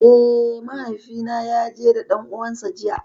Eh, mahaifi na ya je da ɗan uwan sa jiya.